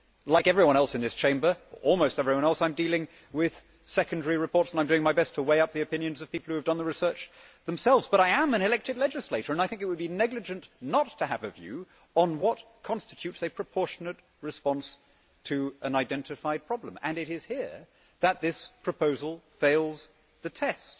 Like almost everyone else in this Chamber I am dealing with secondary reports and I am doing my best to weigh up the opinions of people who have done the research themselves. But I am an elected legislator and I think it would be negligent not to have a view on what constitutes a proportionate response to an identified problem. It is here that this proposal fails the test.